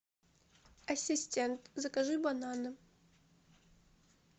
ассистент закажи бананы